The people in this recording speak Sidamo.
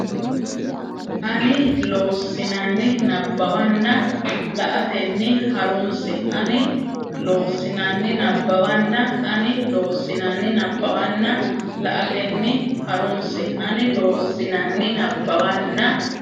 ani Loossinanni nabbawanna la atenni ha runse ani Loossinanni nabbawanna ani Loossinanni nabbawanna la atenni ha runse ani Loossinanni nabbawanna.